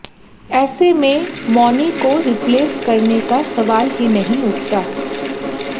ऐसे में मौनी को रिप्लेस करने का सवाल ही नहीं उठता